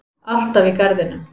Alltaf í garðinum.